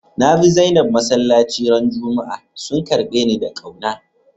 Na bi Zainab masallaci ran Juma'a, sun karbe ni da kauna.